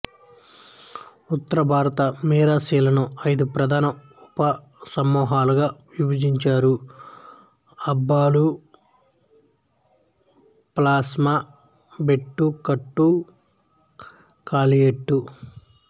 ఉత్తర భారత మిరాసీలను ఐదు ప్రధాన ఉప సమూహాలుగా విభజించారు అబ్బాలు పోస్లా బెటు కట్టు కాలేటు